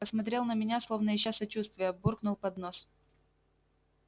посмотрел на меня словно ища сочувствия буркнул под нос